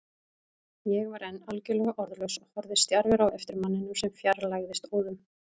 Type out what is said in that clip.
Ég var enn algjörlega orðlaus og horfði stjarfur á eftir manninum sem fjarlægðist óðum.